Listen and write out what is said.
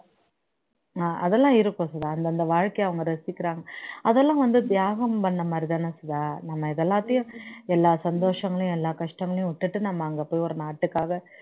ஹம் அதெல்லாம் இருக்கும் சுதா அந்தந்த வாழ்க்கைய அவங்க ரசிக்கிறாங்க அதெல்லாம் வந்து தியாகம் பண்ணுன மாதிரிதான சுதா நம்ம இதெல்லாத்தையும் எல்லா சந்தோசங்களையும் எல்லா கஷ்டங்களையும் விட்டுட்டு நம்ம அங்க போய் ஒரு நாட்டுக்காக